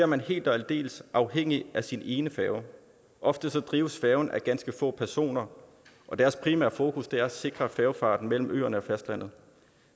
man helt og aldeles afhængig af sin ene færge ofte drives færgen af ganske få personer og deres primære fokus er at sikre færgefarten mellem øerne og fastlandet